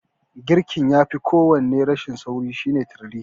Girkin fa yafi kowanne rashin sauri shine turiri.